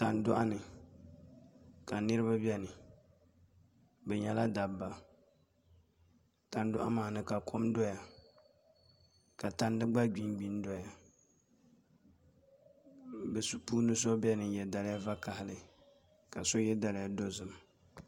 Tandoɣu ni ka niraba bɛ ni bi nyɛla dabba tandoɣu maa ni ka kom doya ka tandi gba gbingbi n doya bi puuni so biɛni n yɛ daliya vakaɣali ka so yɛ daliya dozim